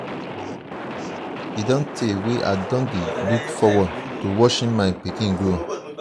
e don tey wey i don dey look forward to watching my pikin grow.